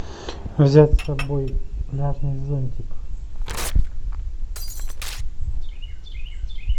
взять с собой пляжный зонтик